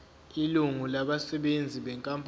ilungu labasebenzi benkampani